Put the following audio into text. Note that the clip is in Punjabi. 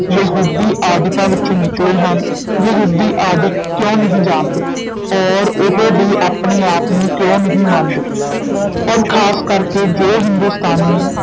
ਯਹੂਦੀ ਆਦਿਕਾਂ ਵਿਚੋਂ ਨਿਕਲੇ ਹਨ, ਯਹੂਦੀ ਆਦਿਕ ਕਿਉਂ ਨਹੀਂ ਜਾਣਦੇ? ਔਰ ਉਹ ਵੀ ਆਪਣੇ ਆਪ ਨੂੰ ਕਿਉਂ ਨਹੀਂ ਮੰਨਦੇ? ਔਰ ਖ਼ਾਸ ਕਰਕੇ ਜੋ ਹਿੰਦੁਸਤਾਨੀ